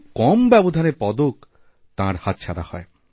খুব কম ব্যবধানে পদক তাঁর হাতছাড়া হয়